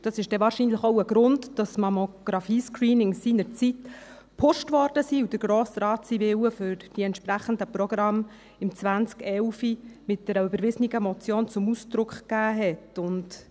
Das ist wahrscheinlich auch ein Grund, dass Mammographie-Screenings seinerzeit gepusht wurden und der Grosse Rat seinen Willen für die entsprechenden Programme im 2011 mit einer überwiesenen Motion zum Ausdruck brachte.